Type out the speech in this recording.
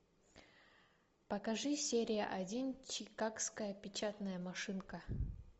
покажи серия один чикагская печатная машинка